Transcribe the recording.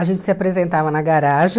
A gente se apresentava na garagem.